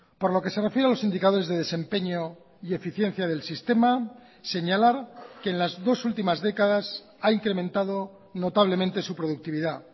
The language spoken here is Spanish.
por lo que se refiere a los indicadores de desempeño y eficiencia del sistema señalar que en las dos últimas décadas ha incrementado notablemente su productividad